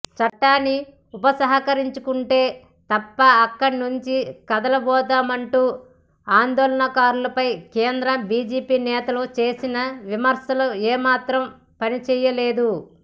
చట్టాన్ని ఉపసంహరించుకుంటే తప్ప అక్కడి నుంచి కదలబోమంటున్న ఆందోళనకారులపై కేంద్ర బీజేపీ నేతలు చేసిన విమర్శలు ఏమాత్రం పనిచేయలేదు